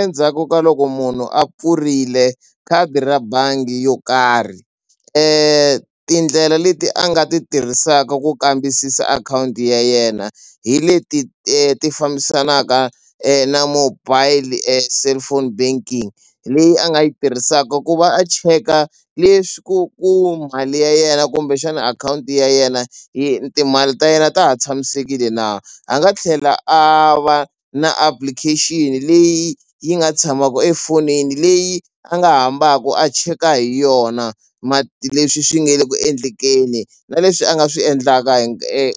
Endzhaku ka loko munhu a pfurile khadi ra bangi yo karhi tindlela leti a nga ti tirhisaka ku kambisisa akhawunti ya yena hi leti ti fambisanaka na mobile cellphone banking leyi a nga yi tirhisaka ku va a cheka leswi ku ku mali ya yena kumbe xana akhawunti ya yena timali ta yena ta ha tshamisekile na a nga tlhela a va na application leyi yi nga tshamaku efonini leyi a nga hambaku a cheka hi yona leswi swi nge le ku endlekeni na leswi a nga swi endlaka